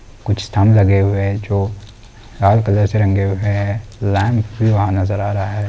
कुछ स्तंभ लगे हुये है जो लाल कलर से रंगे हुये है लैम्प भी वहाँ नज़र आ रहा हैं।